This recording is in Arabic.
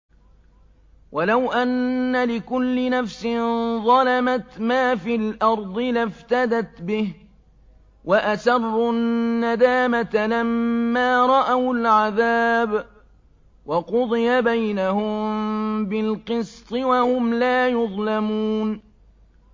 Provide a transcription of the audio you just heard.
وَلَوْ أَنَّ لِكُلِّ نَفْسٍ ظَلَمَتْ مَا فِي الْأَرْضِ لَافْتَدَتْ بِهِ ۗ وَأَسَرُّوا النَّدَامَةَ لَمَّا رَأَوُا الْعَذَابَ ۖ وَقُضِيَ بَيْنَهُم بِالْقِسْطِ ۚ وَهُمْ لَا يُظْلَمُونَ